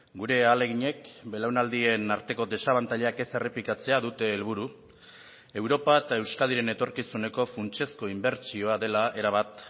gure ahaleginek belaunaldien arteko desabantailak ez errepikatzea dute helburu europa eta euskadiren etorkizuneko funtsezko inbertsioa dela erabat